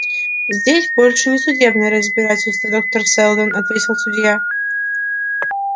здесь больше не судебное разбирательство доктор сэлдон ответил судья